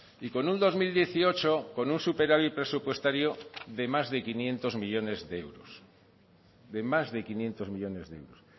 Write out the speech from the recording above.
y con un dos mil dieciocho con un superávit presupuestario de más de quinientos millónes de euros de más de quinientos millónes de euros